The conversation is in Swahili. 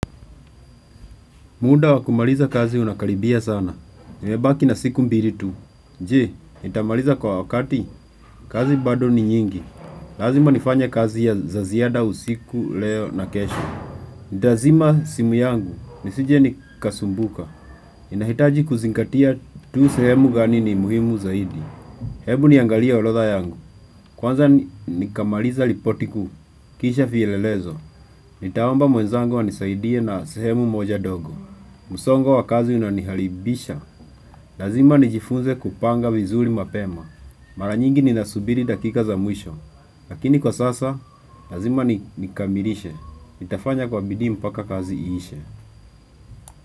Muda wakumaliza kazi unakaribia sana. Nimebaki na siku mbili tu. Je, nitamaliza kwa wakati? Kazi bado ni nyingi. Lazima nifanya kazi ya zaziada usiku, leo na kesho. Ndazima simu yangu, nisije nikasumbuka. Ninahitaji kuzinkatia tu sehemu gani ni muhimu zaidi. Hebu niangalia orodha yangu. Kwanza nikamaliza ripoti kuu, kisha vielelezo. Nitaomba mwenzangu anisaidie na sehemu moja dogo. Msongo wa kazi unaniharibisha. Lazima nijifunze kupanga vizuri mapema. Mara nyingi ni nasubiri dakika za mwisho. Lakini kwa sasa, lazima nikamilishe. Nitafanya kwa bidhii mpaka kazi iishe.